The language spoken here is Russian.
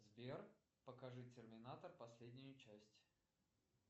сбер покажи терминатор последнюю часть